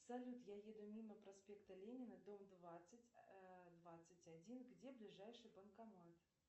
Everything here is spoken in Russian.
салют я еду мимо проспекта ленина дом двадцать двадцать один где ближайший банкомат